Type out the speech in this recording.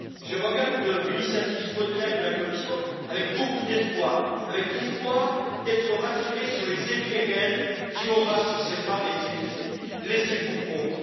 Je regarde l'initiative Spotlight de la Commission avec beaucoup d'espoir, avec l'espoir d'être rassuré sur les effets réels qu'elle aura sur ces femmes et ces filles laissées pour compte.